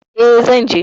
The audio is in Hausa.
E, zan je.